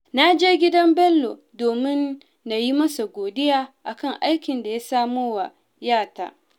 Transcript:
Na je gidan Bello domin na yi masa godiya a kan aikin da ya samo wa ‘yata